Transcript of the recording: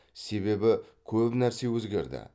себебі көп нәрсе өзгерді